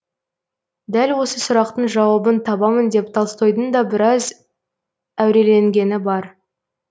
дәл осы сұрақтың жауабын табамын деп толстойдың да біраз әуреленгені бар